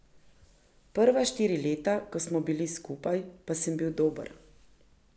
Prva štiri leta, ko smo bili skupaj, pa sem bil dober.